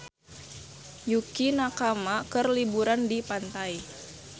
Yukie Nakama keur liburan di pantai